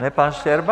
Ne pan Štěrba?